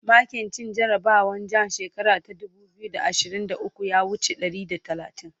makin cin jarabawan jamb shekara ta dubu biyu da ashirin da ukwu ya wuce ɗari da talatin